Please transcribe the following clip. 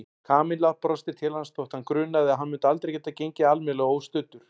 Kamilla brosti til hans þótt hana grunaði að hann myndi aldrei geta gengið almennilega óstuddur.